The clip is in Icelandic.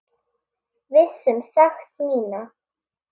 Viss um sekt mína.